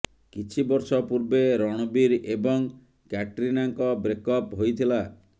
କିଛି ବର୍ଷ ପୂର୍ବେ ରଣବୀର ଏବଂ କ୍ୟାଟ୍ରିନାଙ୍କ ବ୍ରେକ୍ଅପ୍ ହୋଇଥିଲା